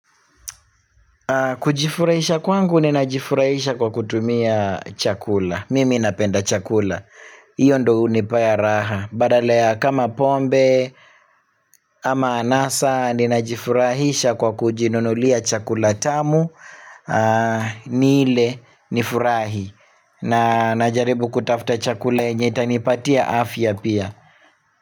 Kujifurahisha kwangu ninajifurahisha kwa kutumia chakula, mimi napenda chakula. Hiyo ndio hunipea raha. Badala ya kama pombe, ama anasa ninajifurahisha kwa kujinunulia chakula tamu, nile nifurahi. Na jaribu kutafuta chakula yenye itanipatia afya pia.